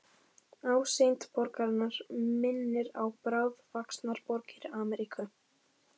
Ásýnd borgarinnar minnir á bráðvaxnar borgir Ameríku.